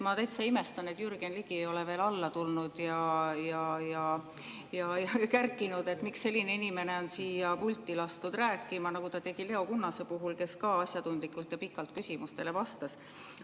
Ma täitsa imestan, et Jürgen Ligi ei ole veel alla tulnud ja kärkinud, miks selline inimene on siia pulti lastud rääkima, nagu ta tegi Leo Kunnase puhul, kes ka asjatundlikult ja pikalt küsimustele vastas.